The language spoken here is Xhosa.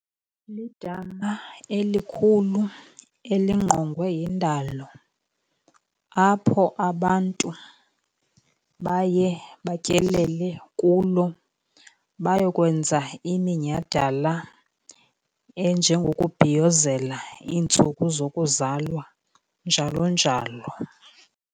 Lidama elikhulu elingqongwe yindalo apho abantu baye batyelele kulo, bayokwenza iminyhadala enjengokubhiyozela iintsuku zokuzalwa, njalo njalo.